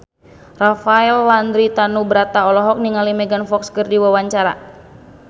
Rafael Landry Tanubrata olohok ningali Megan Fox keur diwawancara